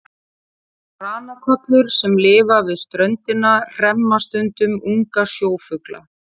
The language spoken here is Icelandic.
Ranakollur sem lifa við ströndina hremma stundum unga sjófugla.